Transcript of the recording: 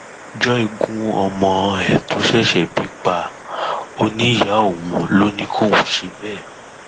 joy gún ọmọ ẹ tó ṣẹṣẹ bí pa ọ níyàá òun ló ní kóun ṣe bẹẹ